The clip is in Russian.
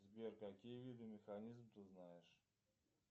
сбер какие виды механизмов ты знаешь